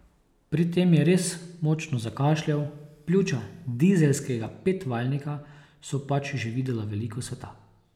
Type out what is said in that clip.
Pri tem je res močno zakašljal, pljuča dizelskega petvaljnika so pač že videla veliko sveta.